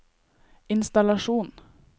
innstallasjon